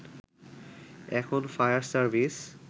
এখন fire service